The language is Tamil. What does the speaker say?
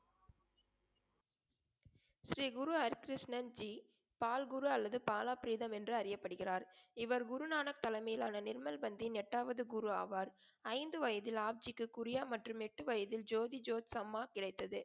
ஸ்ரீ குரு ஹரிகிருஷ்ணன் ஜி பால் குரு அல்லது பாலாபிரீதம் என்று அறியப்படுகிறார். இவர் குருநானக் தலைமையிலான நிர்மல் பந்தின் எட்டாவது குரு ஆவார். ஐந்து வயதில் ஆப்ஜிக்கு குறியா மற்றும் எட்டு வயதில் ஜோதி ஜோத்ஜம்மா கிடைத்தது.